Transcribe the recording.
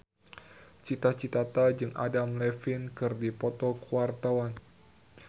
Cita Citata jeung Adam Levine keur dipoto ku wartawan